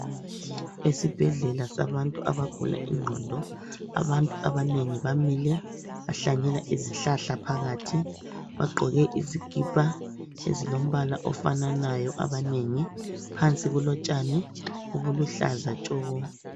Esibhedlela sabantu abagula ingqondo ,abantu abanengi bamile .Bahlanyela izihlahla phakathi ,bagqoke izikhipha ezilombala ofananayo abanengi. Phansi kulotshani obuluhlaza tshoko.